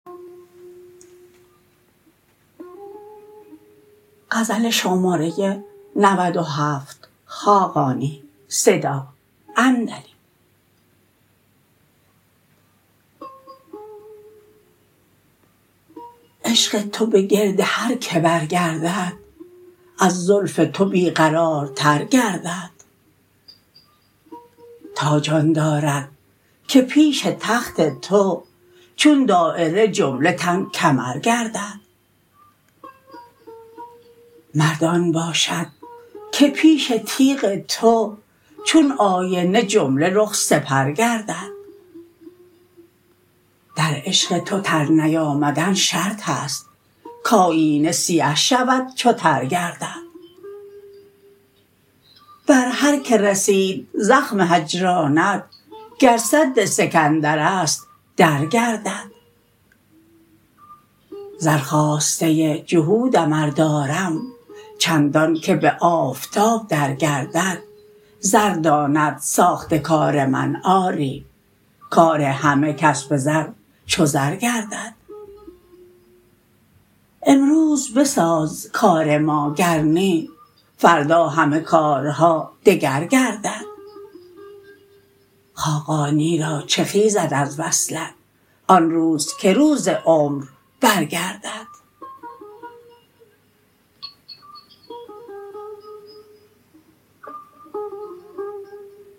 عشق تو به گرد هر که برگردد از زلف تو بی قرارتر گردد تاج آن دارد که پیش تخت تو چون دایره جمله تن کمر گردد مرد آن باشد که پیش تیغ تو چون آینه جمله رخ سپر گردد در عشق تو تر نیامدن شرط است کایینه سیه شود چو تر گردد بر هر که رسید زخم هجرانت گر سد سکندر است درگردد زر خواسته جهودم ار دارم چندان که به آفتاب درگردد زر داند ساخت کار من آری کار همه کس به زر چو زر گردد امروز بساز کار ما گر نی فردا همه کارها دگر گردد خاقانی را چه خیزد از وصلت آن روز که روز عمر برگردد